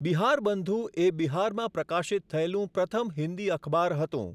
બિહારબંધુ એ બિહારમાં પ્રકાશિત થયેલું પ્રથમ હિન્દી અખબાર હતું.